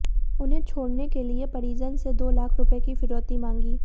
उन्हें छोड़ने के लिए परिजन से दो लाख रुपये की फिरौती मांगी